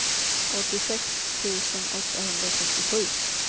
åttiosex tusen åttahundratrettiosju